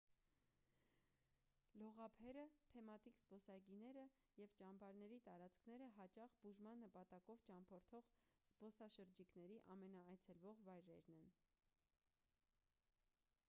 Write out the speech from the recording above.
լողափերը թեմատիկ զբոսայգիները և ճամբարների տարածքները հաճախ բուժման նպատակով ճամփորդող զբոսաշրջիկների ամենաայցելվող վայրերն են